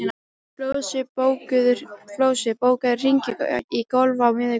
Flosi, bókaðu hring í golf á miðvikudaginn.